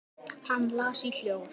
Hann las í hljóði: